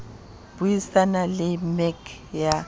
bui sana le mec ya